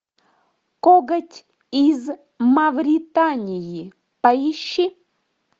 коготь из мавритании поищи